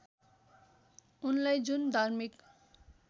उनलाई जुन धार्मिक